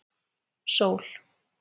Sól